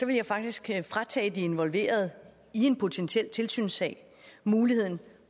vil jeg faktisk fratage de involverede i en potentiel tilsynssag muligheden